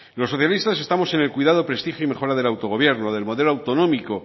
los socialistas estamos en el cuidado prestigio y mejora del autogobierno del modelo autonómico